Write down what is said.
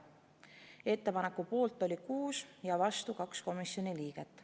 Ettepaneku poolt oli 6 ja vastu 2 komisjoni liiget.